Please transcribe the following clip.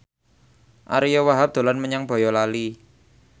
Ariyo Wahab dolan menyang Boyolali